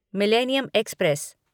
millennium express